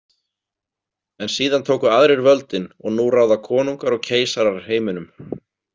En síðan tóku aðrir völdin og nú ráða konungar og keisarar heiminum.